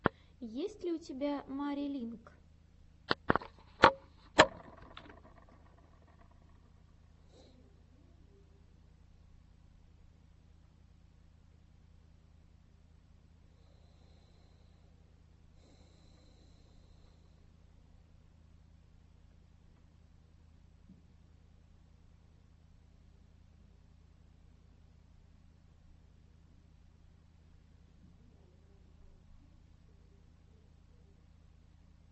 есть ли у тебя мари линк